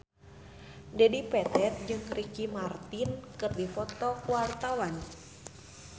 Dedi Petet jeung Ricky Martin keur dipoto ku wartawan